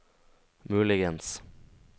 muligens